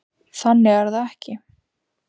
Þannig er það ekki.